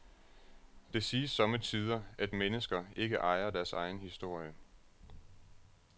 Det siges somme tider, at mennesker ikke ejer deres egen historie.